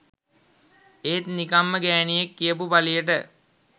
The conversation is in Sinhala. ඒත් නිකම්ම ගෑනියෙක් කියපු පලියට